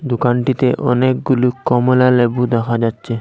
দুকানটিতে অনেকগুলু কমলালেবু দেখা যাচ্ছে।